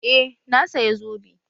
Eh, na saya zobe